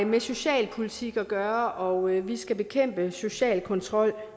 med socialpolitik at gøre og at vi skal bekæmpe social kontrol